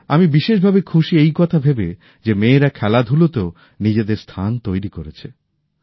আমি বিশেষভাবে খুশি এই কথা ভেবে যে মেয়েরা খেলাধুলাতেও নিজেদের স্থান তৈরি করছে